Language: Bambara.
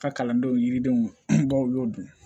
Ka kalandenw yiridenw baw y'o dun